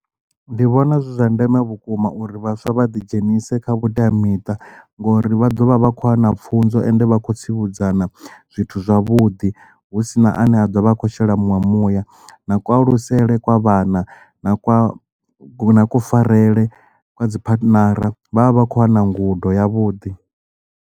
Ndi vhona zwi zwa ndeme vhukuma uri vhaswa vha ḓi dzhenise kha vhuteamiṱa ngori vha ḓovha vha kho wana pfunzo ende vha khou tsivhudzana zwithu zwavhuḓi hu sina ane a a ḓovha a kho shela muṅwe muya na kualusele kwa vhana na kwa kufarelwe kwa dzi phathinara vhavha vha khou wana ngudo ya vhuḓi.